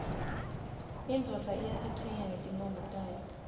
indvodza iyatichenya ngetimkhomo tayo